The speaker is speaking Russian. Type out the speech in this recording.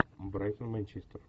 брайтон манчестер